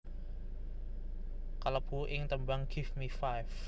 kalebu ing tembang Give Me Five